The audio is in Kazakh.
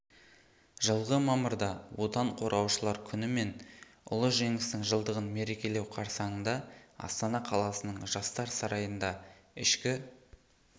жылғы мамырда отан қорғаушылар күні мен ұлы жеңістің жылдығын мерекелеу қарсаңында астана қаласының жастар сарайында ішкі